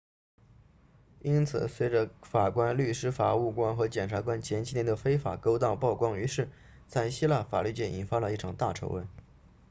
因此随着法官律师法务官和检察官前几年的非法勾当曝光于世在希腊法律界引发了一场大丑闻